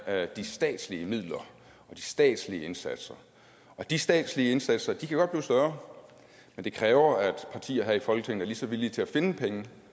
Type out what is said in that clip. er de statslige midler og de statslige indsatser og de statslige indsatser kan godt blive større men det kræver at partier her i folketinget er lige så villige til at finde penge